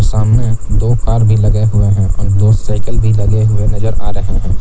सामने दो कार भी लगे हुए हैं और दो साइकिल भी लगे हुए नजर आ रहे हैं।